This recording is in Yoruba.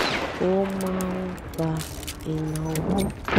ó má ń pa ìnáwó